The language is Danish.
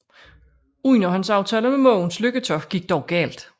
Underhåndsaftalen med Mogens Lykketoft gik dog galt